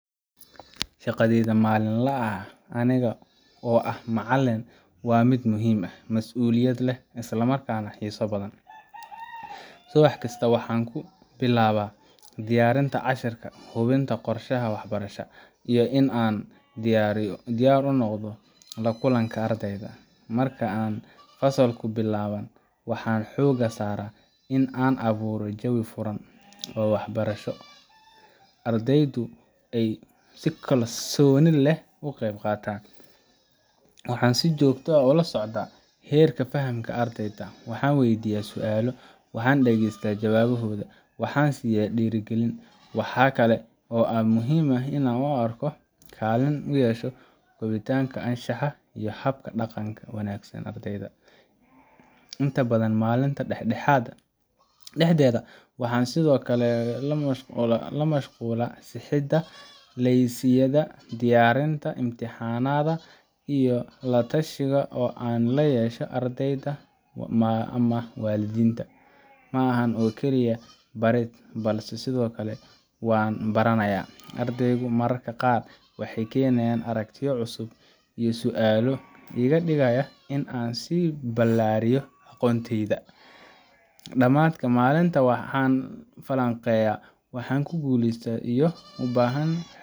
Shaqadayda maalinlaha ah aniga oo ah macalin waa mid muhiim ah, mas’uuliyad leh, isla markaana xiiso badan. Subax kasta waxaan ku bilaabaa diyaarinta casharrada, hubinta qorshaha waxbarashada, iyo in aan diyaar u noqdo la kulanka ardayda. Marka ay fasallku bilaabmaan, waxaan xoogga saaraa in aan abuuro jawi furan oo waxbarasho, oo ardaydu ay si kalsooni leh ugu qeyb qaataan. Waxaan si joogto ah ula socdaa heerka fahamka ardayda waxaan weydiiyaa su’aalo, waxaan dhagaystaa jawaabahooda, waxaana siiya dhiirrigelin. Waxaa kale oo aan muhiim u arkaa in aan kaalin ku yeesho kobcinta anshaxa iyo hab-dhaqanka wanaagsan ee ardayga. Inta badan maalinta dhexdeeda, waxaan sidoo kale ku mashquulaa sixidda laylisyada, diyaarinta imtixaannada, iyo la tashiyo aan la yeesho ardayda ama waalidiinta. Ma aha oo kaliya barid, balse sidoo kale waan baranayaa; ardaydu mararka qaar waxay keenaan aragtiyo cusub iyo su’aalo iga dhigaya in aan sii ballaariyo aqoontayda. Dhammaadka maalinta, waxaan falanqeeyaa waxa guulaystay iyo